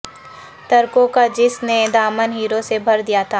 تر کوں کا جس نے دامن ہیروں سے بھر دیا تھا